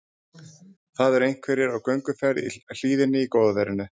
Það eru einhverjir á gönguferð í hlíðinni í góða veðrinu.